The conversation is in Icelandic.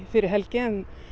fyrir helgi